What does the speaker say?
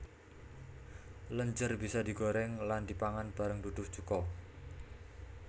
Lenjer bisa digoreng lan dipangan bareng duduh cuko